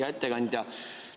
Hea ettekandja!